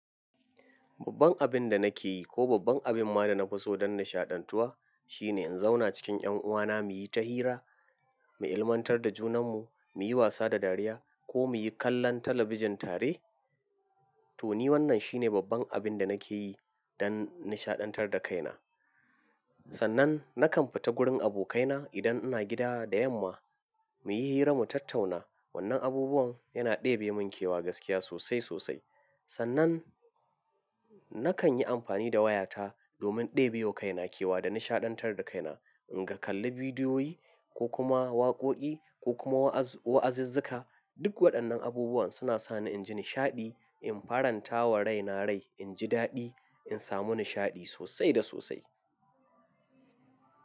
Babban abin da nake yi ko babban abin ma da na fi so don nishaɗantuwa shine in zauna cikin ƴanuwana muyi ta hira, mu ilmantar da junanmu, muyi wasa da dariya ko muyi kallon talabijin tare. To ni wannan shine babban abin da nake yi don nishaɗantar da kaina. Sannan nakan fita gurin abokaina idan ina gida da yamma muyi hira mu tattauna. Wannan abubuwan yana ɗebe mun kewa gaskiya sosai sosai. Sannan nakan yi amfani da wayata domin ɗebiyo kaina kewa da nishaɗantar da kaina. In ga kalli bidiyoyi ko kuma waƙoƙi ko kuma wa'az-wa'azizzuka, duk waɗannan abubuwan suna sa ni inji nishaɗi, in faranta wa raina rai, inji daɗi, in samu nishaɗi sosai da sosai.